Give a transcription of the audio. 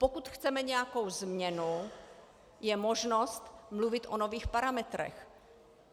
Pokud chceme nějakou změnu, je možnost mluvit o nových parametrech.